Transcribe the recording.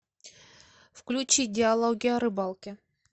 включи диалоги о рыбалке